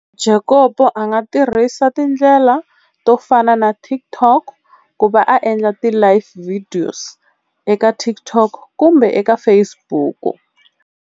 Jacob a nga tirhisa tindlela to fana naTikTok ku va a endla ti live videos ekaTikTok kumbe eka Facebook.